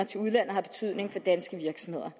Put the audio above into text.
til udlandet har betydning for danske virksomheder